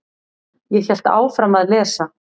Ég hélt áfram að lesa.